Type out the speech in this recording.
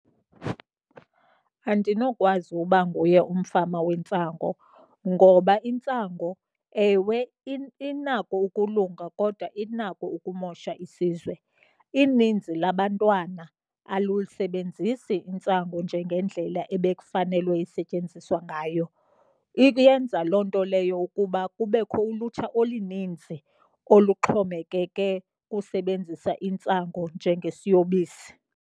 Andinokwazi uba nguye umfama wentsango. Ngoba intsango, ewe, inako ukulunga kodwa inako ukumosha isizwe. Ininzi labantwana alusebenzisi intsango njengendlela ebekufanelwe isetyenziswa ngayo. Iyenza loo nto leyo ukuba kubekho ulutsha oluninzi oluxhomekeke kusebenzisa intsango njengesiyobisi.